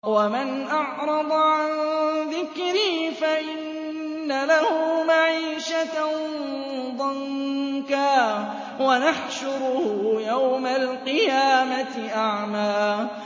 وَمَنْ أَعْرَضَ عَن ذِكْرِي فَإِنَّ لَهُ مَعِيشَةً ضَنكًا وَنَحْشُرُهُ يَوْمَ الْقِيَامَةِ أَعْمَىٰ